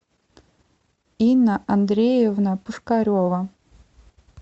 инна андреевна пушкарева